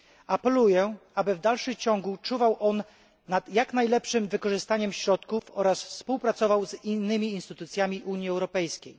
Apeluję, aby w dalszym ciągu czuwał on nad jak najlepszym wykorzystaniem środków oraz współpracował z innymi instytucjami Unii Europejskiej.